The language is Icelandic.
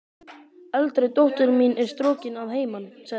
Eldri dóttir mín er strokin að heiman, sagði hún.